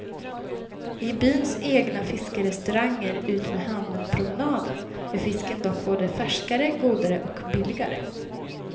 I byns egna fiskerestauranger utmed hamnpromenaden är fisken dock både färskare, godare och billigare.